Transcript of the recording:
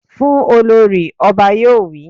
Fún Olorì! Ọba yóò wí.